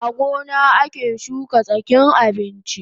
A gona ake shuka tsakin abinchi